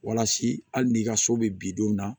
Walasa hali n'i ka so bɛ bidenw na